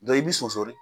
i bi sɔsɔli